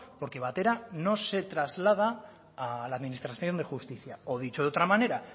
porque batera no se traslada a la administración de justicia o dicho de otra manera